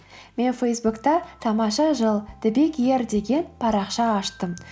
мен фейсбукта тамаша жыл деген парақша аштым